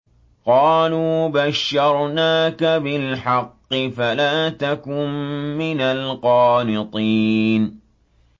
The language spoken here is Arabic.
قَالُوا بَشَّرْنَاكَ بِالْحَقِّ فَلَا تَكُن مِّنَ الْقَانِطِينَ